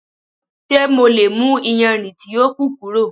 Ṣe MO le mu iyanrin ti o ku kuro?